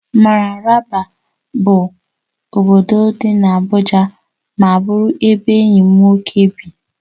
Mararaba bụ obodo dị n'Abuja ma bụrụ ebe enyi m nwoke bi